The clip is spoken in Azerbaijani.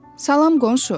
Salam qonşu.